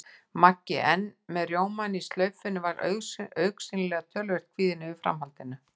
Maggi, enn með rjómann í slaufunni, var augsýnilega töluvert kvíðinn yfir framhaldinu.